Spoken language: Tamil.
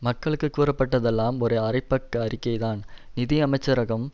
மக்களுக்கு கூறப்பட்டதெல்லாம் ஒரு அரைப்பக்க அறிக்கைதான் நிதி அமைச்சரகம்